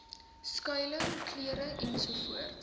skuiling klere ensovoorts